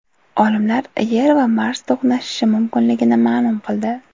Olimlar Yer va Mars to‘qnashishi mumkinligini ma’lum qildi.